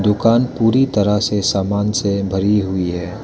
दुकान पूरी तरह से सामान से भरी हुई है।